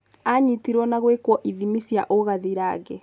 Anyitirwo na gũĩkũo ithimi cia ũgathirange.